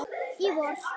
Í vor.